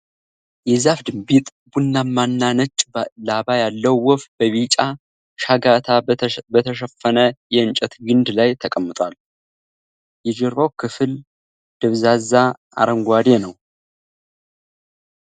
የዛፍ ድንቢጥ ቡናማ እና ነጭ ላባ ያለው ወፍ በቢጫ ሻጋታ በተሸፈነ የእንጨት ግንድ ላይ ተቀምጧል። የጀርባው ክፍል ደብዛዛ አረንጓዴ ነው።